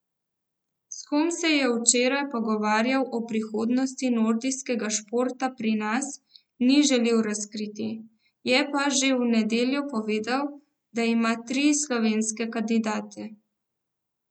S kom se je včeraj pogovarjal o prihodnosti nordijskega športa pri nas, ni želel razkriti, je pa že v nedeljo povedal, da ima tri slovenske kandidate.